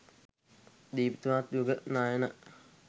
දීප්තිමත් යුග නයන